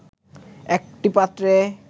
একটি পাত্রে